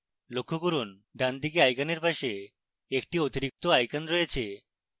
লক্ষ্য করুন ডানদিকে আইকনের পাশে একটি অতিরিক্ত icon রয়েছে